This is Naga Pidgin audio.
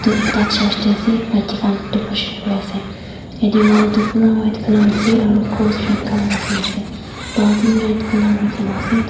etu ekta church te ase maiki khan decoration kuri ase yate wall toh pura white colour ase aru cross red colour rakhine ase baltin red colour rakhine ase.